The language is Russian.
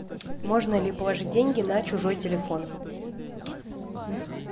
можно ли положить деньги на чужой телефон